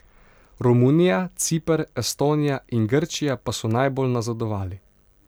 Romunija, Ciper, Estonija in Grčija pa so najbolj nazadovali.